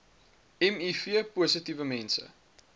miv positiewe mense